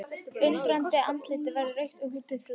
Undrandi andlitið verður rautt og þrútið.